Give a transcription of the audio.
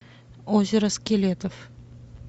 озеро скелетов